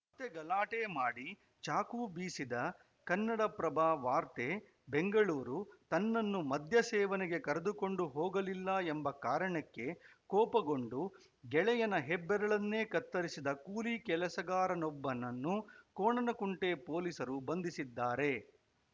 ಮತ್ತೆ ಗಲಾಟೆ ಮಾಡಿ ಚಾಕು ಬೀಸಿದ ಕನ್ನಡಪ್ರಭ ವಾರ್ತೆ ಬೆಂಗಳೂರು ತನ್ನನ್ನು ಮದ್ಯ ಸೇವನೆಗೆ ಕರೆದುಕೊಂಡು ಹೋಗಲಿಲ್ಲ ಎಂಬ ಕಾರಣಕ್ಕೆ ಕೋಪಗೊಂಡು ಗೆಳೆಯನ ಹೆಬ್ಬರಳನ್ನೇ ಕತ್ತರಿಸಿದ ಕೂಲಿ ಕೆಲಸಗಾರನೊಬ್ಬನನ್ನು ಕೋಣನಕುಂಟೆ ಪೊಲೀಸರು ಬಂಧಿಸಿದ್ದಾರೆ